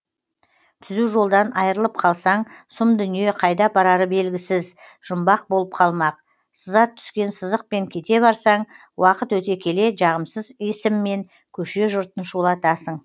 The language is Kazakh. түзу жолдан айырылып қалсаң сұм дүние қайда апарары белгісіз жұмбақ болып қалмақ сызат түскен сызықпен кете барсаң уақыт өте келе жағымсыз есіммен көше жұртын шулатасың